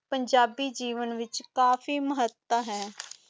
ਪੰਜਾਬੀ ਜੀਵਨ ਵਿਚ ਕਾਫੀ ਮਹੱਤਵ ਹੈ